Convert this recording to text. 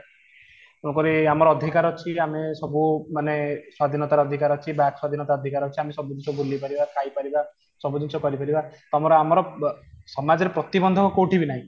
ତେଣୁକରି ଆମର ଅଧିକାର ଅଛି ଆମେ ସବୁ ମାନେ ସ୍ୱାଧୀନତା ର ଅଧିକାର ଅଛି ବାକ ସ୍ୱାଧୀନତା ର ଅଧିକାର ଅଛି ଆମେ ସବୁ ଜିନିଷ ବୁଲିପାରିବା ଖାଇପାରିବା ସବୁ ଜିନିଷ କରିପାରିବା ତାପରେ ଆମର ସମାଜ ରେ ପ୍ରତିବନ୍ଧକ କୋଉଠି ବି ନାହିଁ